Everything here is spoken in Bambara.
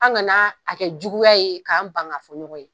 An gana kɛ juguya ye k'an ban ka fɔ ɲɔgɔn ye